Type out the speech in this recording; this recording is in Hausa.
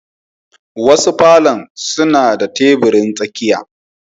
Wasu palours suna da tebirin tsakiya